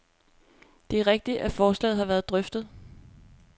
Det er rigtigt, at forslaget har været drøftet.